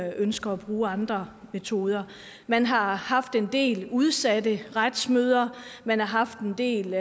ønsker at bruge andre metoder man har haft en del udsatte retsmøder og man har haft en del